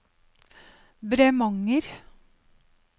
Bremanger